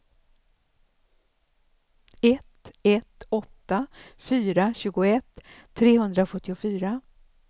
ett ett åtta fyra tjugoett trehundrasjuttiofyra